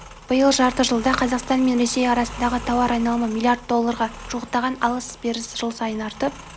биыл жарты жылда қазақстан мен ресей арасындағы тауар айналымы миллиард долларға жуықтаған алыс-беріс жыл сайын артып